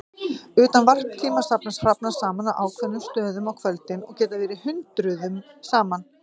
Utan varptíma safnast hrafnar saman á ákveðnum stöðum á kvöldin og geta verið hundruðum saman.